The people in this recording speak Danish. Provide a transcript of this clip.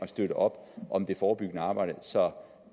støttes op om det forebyggende arbejde så